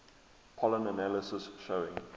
pollen analysis showing